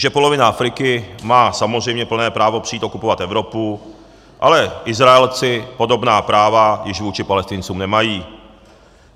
Že polovina Afriky má samozřejmě plné právo přijít okupovat Evropu, ale Izraelci podobná práva již vůči Palestincům nemají.